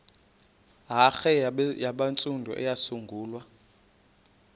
hare yabantsundu eyasungulwa